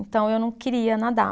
Então, eu não queria nadar.